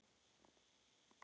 Þing kom nýlega saman.